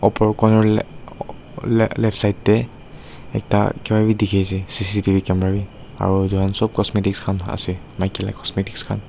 opor coner lae lae left side tae ekta kipa bi dikhiase C_C_T_V camera bi aro edu khan sop cosmetic khan ase maki la cosmetics khan.